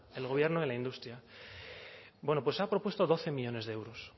el gobierno de la industria bueno pues ha propuesto doce millónes de euros